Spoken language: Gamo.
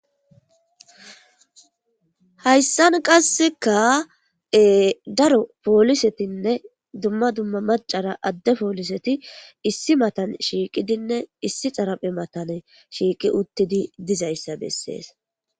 Hayssan qasseka e daro poolisetinne dumma dumma macara adde pooliseti issi matan shiiqidinne issi xaraphe matane shiiqi uttidi dizayssa bessees.